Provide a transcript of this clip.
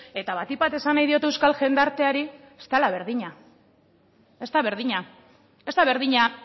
eta batik bat esan nahi diot euskal jendarteari ez dela berdina ez da berdina ez da berdina